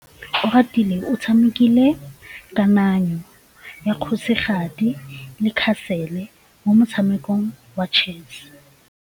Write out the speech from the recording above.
Oratile o tshamekile kananyô ya kgosigadi le khasêlê mo motshamekong wa chess.